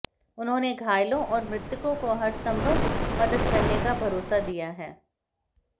उन्होंने घायलों और मृतकों की हरसंभव मदद करने का भरोसा दिया है